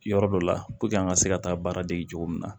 Yɔrɔ dɔ la puruke an ka se ka taa baara dege cogo min na